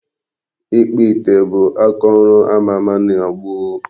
Ịkpụ ite bụ akaọrụ ama ama na gboo.